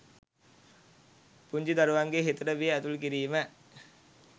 පුංචි දරුවන්ගේ හිතට බිය ඇතුල් කිරීම.